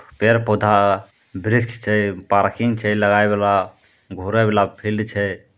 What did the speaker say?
पेड़-पौधा वृक्ष छे पार्किंग छे लगय वाला घूरे वला फील्ड छे।